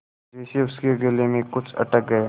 जैसे उसके गले में कुछ अटक गया